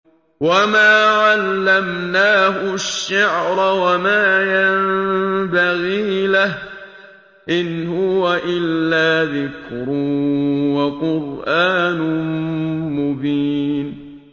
وَمَا عَلَّمْنَاهُ الشِّعْرَ وَمَا يَنبَغِي لَهُ ۚ إِنْ هُوَ إِلَّا ذِكْرٌ وَقُرْآنٌ مُّبِينٌ